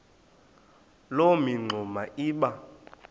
loo mingxuma iba